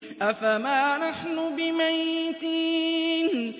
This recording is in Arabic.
أَفَمَا نَحْنُ بِمَيِّتِينَ